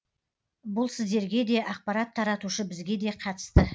бұл сіздерге де ақпарат таратушы бізге де қатысты